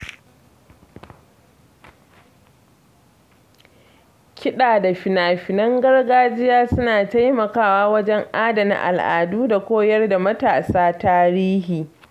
Kiɗa da fina-finan gargajiya suna taimakawa wajen adana al'adu da koyar da matasa tarihi.